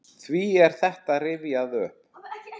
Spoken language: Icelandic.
Hví er þetta rifjað upp?